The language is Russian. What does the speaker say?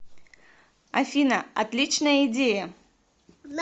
афина отличная идея